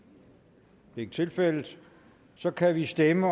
det er ikke tilfældet så kan vi stemme